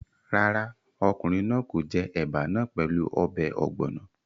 Rárá, ọkùnrin náà kò jẹ ẹ̀bà náà pẹ̀lú ọbẹ̀ ọ̀gbọ̀nọ̀